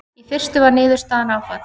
Í fyrstu var niðurstaðan áfall.